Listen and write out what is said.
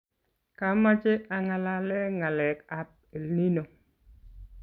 kamache angalale ngalekab elnino